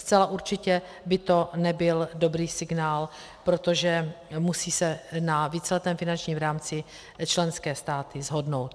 Zcela určitě by to nebyl dobrý signál, protože se musí na víceletém finančním rámci členské státy shodnout.